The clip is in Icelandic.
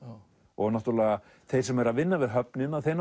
og þeir sem eru að vinna við höfnina